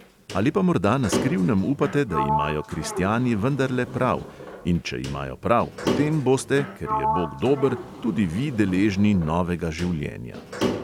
Ali pa morda na skrivnem upate, da imajo kristjani vendarle prav, in če imajo prav, potem boste, ker je bog dober, tudi vi deležni novega življenja.